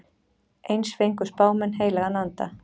Eins fengu spámenn heilagan anda.